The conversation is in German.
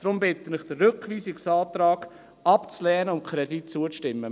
Deshalb bitte ich Sie, den Rückweisungsantrag abzulehnen und dem Kredit zuzustimmen.